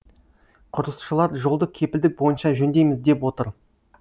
құрылысшылар жолды кепілдік бойынша жөндейміз деп отыр